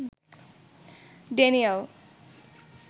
Daniel